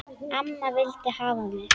Amma vildi hafa mig.